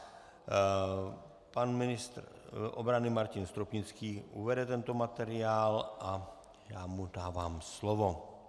Pan ministr obrany Martin Stropnický uvede tento materiál a já mu dávám slovo.